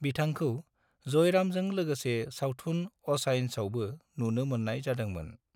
बिथांखौ जयरामजों लोगोसे सावथुन अचायन्सआवबो नुनो मोननाय जादोंमोन।